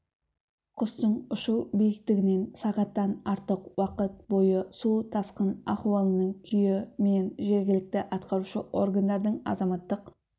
құстың ұшу биктігінен сағаттан артық уақыт бойы су тасқын ахуалының күйі мен жергілікті атқарушы органдардың азаматтық